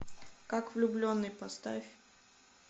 как влюбленный поставь